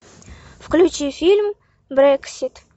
включи фильм брексит